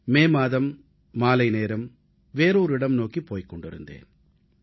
மே மாதத்தில் நான் ஒரு இடத்திற்கு சென்று கொண்டிருந்தேன்